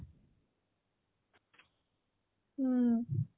ହୁଁ